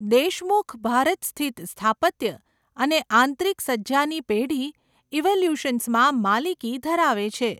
દેશમુખ ભારત સ્થિત સ્થાપત્ય અને આંતરિક સજ્જાની પેઢી ઇવોલ્યૂશન્સમાં માલિકી ધરાવે છે.